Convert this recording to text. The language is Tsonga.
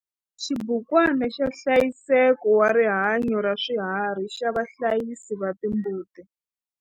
Xibukwana xa nhlayiseko wa rihanyo ra swiharhi xa vahlayisi va timbuti.